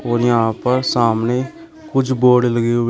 और यहां पर सामने कुछ बोर्ड लगे हुए --